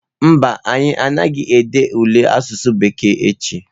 Mba, anyị anaghị ede ule asụsụ bekee echi.